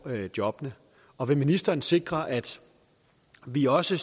jobbene og vil ministeren sikre at vi også